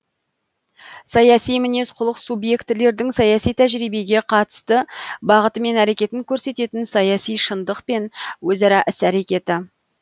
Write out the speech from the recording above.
саяси мінез құлық субъектілердің саяси тәжірибеге қатысты бағыты мен әрекетін көрсететін саяси шындық пен өзара іс әрекеті